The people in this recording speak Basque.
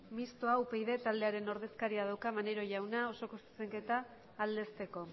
mistoa upyd taldearen ordezkariak dauka hitza maneiro jaunak osoko zuzenketa aldezteko